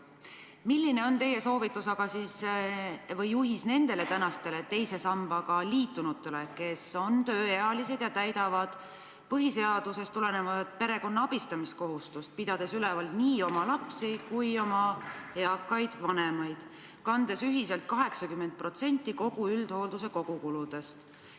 Milline on teie soovitus või juhis nendele teise sambaga liitunutele, kes on tööealised ja täidavad põhiseadusest tulenevat perekonna abistamiskohustust, pidades üleval nii oma lapsi kui oma eakaid vanemaid, kandes ühiselt 80% kogu üldhoolduse kuludest?